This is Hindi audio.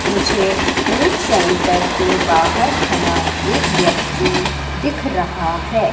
मुझे फूड सेंटर के बाहर खड़ा एक व्यक्ति दिख रहा है।